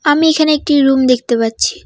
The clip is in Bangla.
আমি এখানে একটি রুম দেখতে পাচ্ছি।